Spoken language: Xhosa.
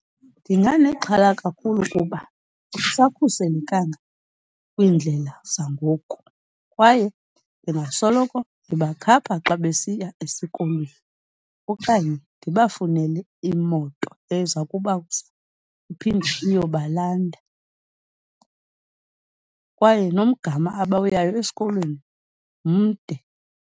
Ndinganexhala kakhulu kuba akusakhuselekanga kwiindlela zangoku kwaye ndingasoloko ndibakhapha xa besiya esikolweni okanye ndibafunele imoto eza kubasa iphinde iyobalanda kwaye nongama abawuyayo esikolweni mde.